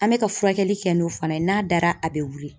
An bɛ ka furakɛli kɛ n'o fana ye n'a dara a bɛ wili